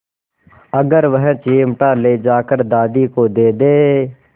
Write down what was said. अगर वह चिमटा ले जाकर दादी को दे दे